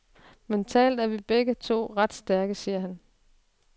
Mentalt er vi begge to ret stærke, siger han.